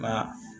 Nka